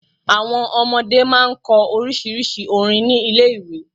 Àwon ọmọdé máa n kọ orísírìsí orin ni Ilé iwe